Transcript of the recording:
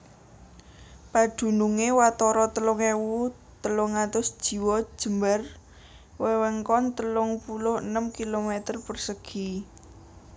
Padunungé watara telung ewu telung atus jiwa jembar wewengkon telung puluh enem kilometer persegi